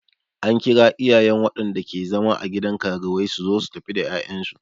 An kira iyayen waɗanda ke zama a gidan karuwai suzo su tafi da 'ya'yan su.